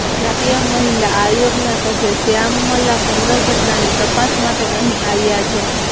રાષ્ટ્રીય મહિલા આયોગના સભ્ય શ્યામમલા કુંદર ઘટનાની તપાસ માટે અહીં આવ્યાં છે